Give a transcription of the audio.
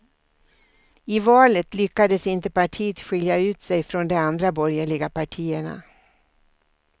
I valet lyckades inte partiet skilja ut sig från de andra borgerliga partierna.